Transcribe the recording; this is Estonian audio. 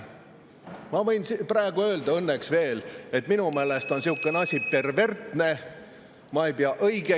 Ma võin praegu öelda – õnneks veel –, et minu meelest on sihukene asi perversne ja ma ei pea seda õigeks.